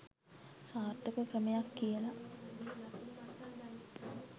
සාර්ථක ක්‍රමයක් කියල